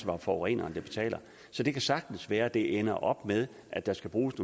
var forureneren der betalte så det kan sagtens være at det ender op med at der skal bruges